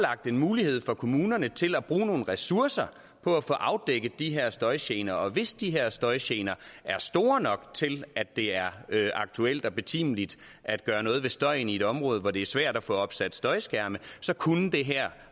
mulighed for kommunerne til at bruge nogle ressourcer på at få afdækket de her støjgener og hvis de her støjgener er store nok til at det er aktuelt og betimeligt at gøre noget ved støjen i et område hvor det er svært at få opsat støjskærme så kunne det her